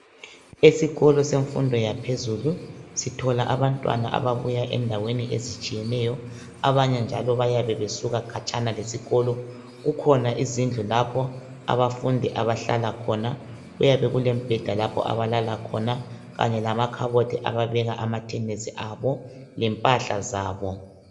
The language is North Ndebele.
Esikolo semfundo yaphezulu sithola abantwana ababuya endaweni ezitshiyeneyo abanye njalo bayabe besuka khatshana lesikolo kukhona izindlu lapho abafundi abahlala khona kuyabe kule mibheda lapho abalala khona kanye lamakhabothi ababeka amathenisi abo lempahla zabo.